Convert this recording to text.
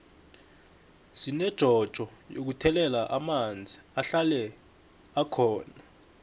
sinejojo yokuthela amanzi ahlale bkhona